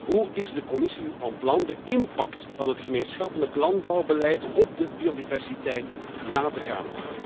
Hoe is de Commissie van plan de impact van het gemeenschappelijk landbouwbeleid op de biodiversiteit na te gaan?